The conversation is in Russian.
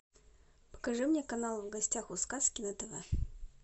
покажи мне канал в гостях у сказки на тв